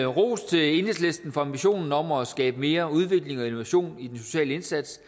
ros til enhedslisten for ambitionen om at skabe mere udvikling og innovation i den sociale indsats